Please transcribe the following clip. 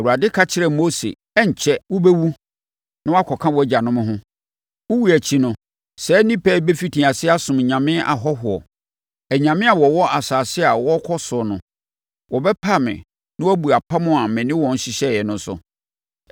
Awurade ka kyerɛɛ Mose “Ɛrenkyɛre, wobɛwu na woakɔka wʼagyanom ho. Wo wuo akyi no, saa nnipa yi bɛfiti aseɛ asom anyame ahɔhoɔ, anyame a wɔwɔ asase a wɔrekɔ so no. Wɔbɛpa me na wɔabu apam a me ne wɔn hyehyɛeɛ no so.